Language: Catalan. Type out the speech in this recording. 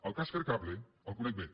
el cas fercable el conec bé